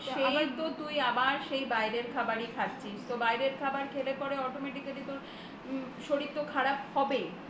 সেই তো তুই সেই আবার বাইরের খাবার খাচ্ছিস তোর বাইরের খাবার খেলে পারে automatically তোর শরীরে তো খারাপ হবেই